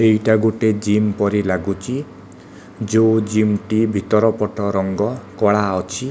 ଏଇଟା ଗୋଟିଏ ଜିମ୍ ପରି ଲାଗୁଚି ଯୋଉ ଜିମ୍ ଟି ଭିତର ପଟ ରଙ୍ଗ କଳା ଅଛି।